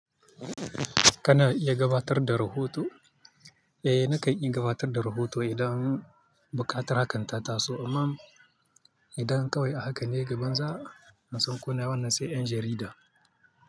Kana iya gabatar da rahoto, eh nakan yi gabatar da rahoto idan buƙatar haka ta taso, amma idan kawai haka ne gabanza, nasan ko wannan sai ƴan jarida.